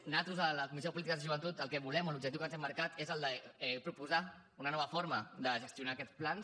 nosaltres a la comissió de polítiques de joventut el que volem o l’objectiu que ens hem marcat és el de proposar una nova forma de gestionar aquests plans